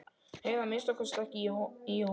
Heyri að minnsta kosti ekki í honum.